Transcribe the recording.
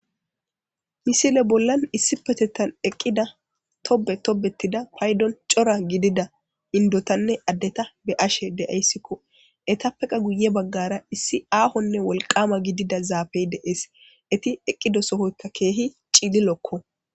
Misile bola issipetetan eqida tobe tonetida cora gidida endotane adeta be'ashe de'aysiko eetapeka guye bagara issi aahone wolqama gidida zaafe de'es eeti eqida sohoyka keehi cililoko